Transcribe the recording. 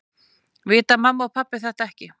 Vita mamma og pabbi þetta ekki?